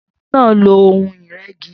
Shina n lò óhùn-Irẹ̀gí